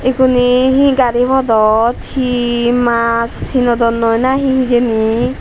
iguney he gari podot he maas hinodonnoi nahi hijeni.